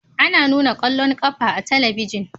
Ana nuna ƙwallon ƙafa a talabijin